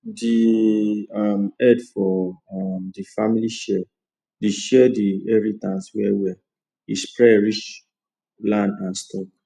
de um head for um de family share de share de inheritance well well e spread reach land and stock